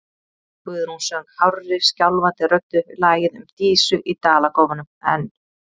Guðrún söng hárri, skjálfandi röddu lagið um Dísu í Dalakofanum, en